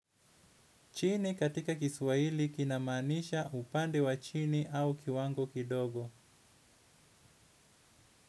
Chini katika kiswahili kinamaanisha upande wa chini au kiwango kidogo.